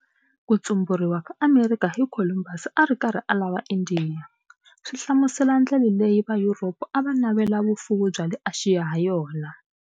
Kutsunmburiwa ka Amerikha hi Kholumbasi ari karhi a lava Indiya, swi hlamusela ndlela leyi Vayuropa ava navela vufuwi bya le Axiya hayona.